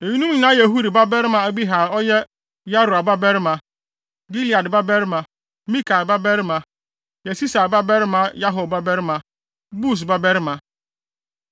Eyinom nyinaa yɛ Huri babarima Abihail a ɔyɛ Yaroa babarima, Gilead babarima, Mikael babarima, Yesisai babarima Yahdo babarima, Bus babarima.